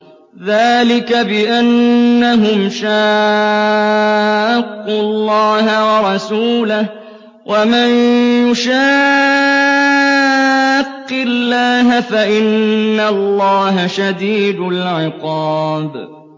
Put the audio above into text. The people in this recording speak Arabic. ذَٰلِكَ بِأَنَّهُمْ شَاقُّوا اللَّهَ وَرَسُولَهُ ۖ وَمَن يُشَاقِّ اللَّهَ فَإِنَّ اللَّهَ شَدِيدُ الْعِقَابِ